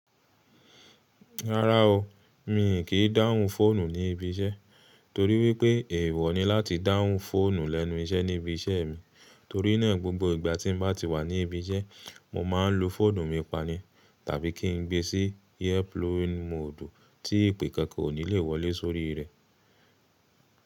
Rárá o, mi kì í dáhùn fóònù ní ibi iṣẹ́ torí wípé èèwọ̀ ni láti dáhùn fóònù lẹ́nu iṣẹ́ ní ibi iṣẹ́ mi torí náà gbogbo ìgbà tí mo bá ti wà ní ibi iṣẹ́, mo máa ń lu fóònù mi pani tàbí kí ń gbé e sí airplane moodu tí ìpè kankan kò ní lè wọlé sórí rẹ̀.